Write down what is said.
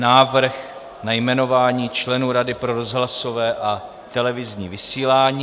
Návrh na jmenování členů Rady pro rozhlasové a televizní vysílání